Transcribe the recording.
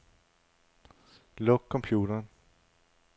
Luk computeren.